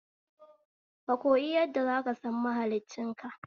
Kakoyi yadda zaka san mahliccin ka